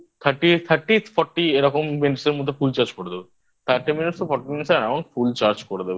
Thirty Thirty Fourty এরকম Minutes এর মধ্যে Full র Charge র করে দেবো Thirty Minutes To Fourty Minutes AroundnFull Charge করে দেবে